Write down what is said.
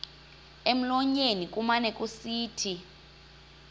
emlonyeni kumane kusithi